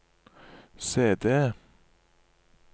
CD